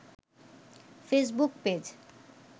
Facebook page